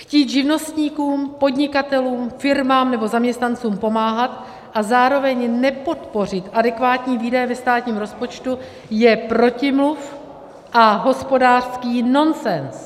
Chtít živnostníkům, podnikatelům, firmám nebo zaměstnancům pomáhat a zároveň nepodpořit adekvátní výdaje ve státním rozpočtu je protimluv a hospodářský nonsens.